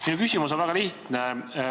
Minu küsimus on väga lihtne.